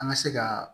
An ka se ka